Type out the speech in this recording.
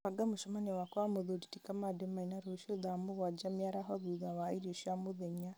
banga mũcemanio wakwa na mũthuri ti kamande maina rũciũ thaa mũgwanja mĩaraho thutha wa irio cia mũthenya